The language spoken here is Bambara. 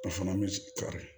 A fana bɛ sigi kari